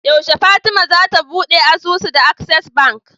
Yashe fatima zata buɗe asusu da access bank